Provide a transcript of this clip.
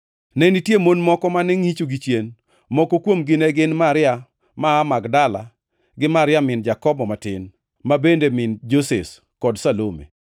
Ne nitie mon moko mane ngʼicho gichien. Moko kuomgi ne gin Maria ma aa Magdala gi Maria min Jakobo matin, ma bende min Joses, kod Salome.